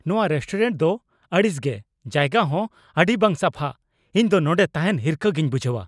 ᱱᱚᱶᱟ ᱨᱮᱥᱴᱳᱨᱮᱱᱴ ᱫᱚ ᱟᱹᱲᱤᱥ ᱜᱮ, ᱡᱟᱭᱜᱟ ᱦᱚᱸ ᱟᱹᱰᱤ ᱵᱟᱝ ᱥᱟᱯᱷᱟ, ᱤᱧ ᱫᱚ ᱱᱚᱸᱰᱮ ᱛᱟᱦᱮᱱ ᱦᱤᱨᱠᱷᱟᱹ ᱜᱤᱧ ᱵᱩᱡᱷᱼᱟ ᱾